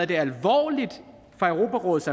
det alvorligt fra europarådets